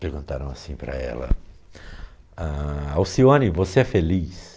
Perguntaram assim para ela, ãh, Alcione, você é feliz?